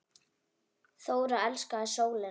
Þóra elskaði sólina.